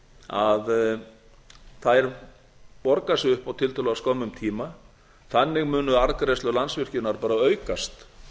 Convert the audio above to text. að þær borga sig upp á tiltölulega skömmum tíma þannig munu arðgreiðslur landsvirkjunar bara aukast